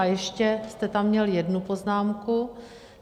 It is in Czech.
A ještě jste tam měl jednu poznámku.